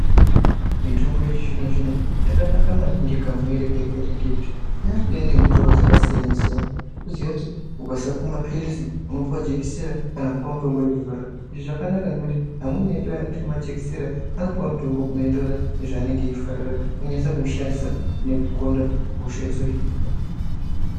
Mitombo yechizvino zvino yakanaka maningi kamuuyire kayakaita ngekuti yakuuya ngemitoo dzakasiyana-siyana unoziva kuti ukasapuwa mapirizi unopuwa jekiseni kana kupuwa mutombo wekuzorera izvi zvakanaka ngekuti amweni edu anotya majekiseni anopuwa mutombo unoenderana nezvanenge achifarira onyasa kuushandisa nekugonda hosha dzohinika.